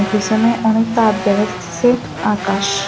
পিসনে অনেক তার দেখা যাইতেসে আকাশ--